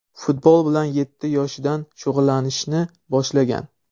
Futbol bilan yetti yoshidan shug‘ullanishni boshlagan.